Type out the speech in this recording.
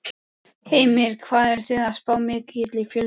Heimir: Hvað eruð þið að spá mikilli fjölgun?